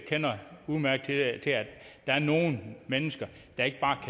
kender udmærket til at der er nogle mennesker der ikke bare